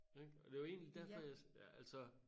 Ik og det jo egentlig derfor jeg ja altså